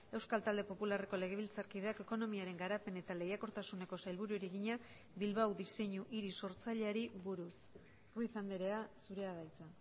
euskal talde popularreko legebiltzarkideak ekonomiaren garapen eta lehiakortasuneko sailburuari egina bilbao diseinu hiri sortzaileari buruz ruiz andrea zurea da hitza